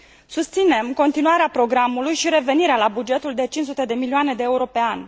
Susținem continuarea programului și revenirea la bugetul de 500 de milioane de euro pe an.